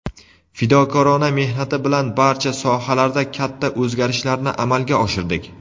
fidokorona mehnati bilan barcha sohalarda katta o‘zgarishlarni amalga oshirdik.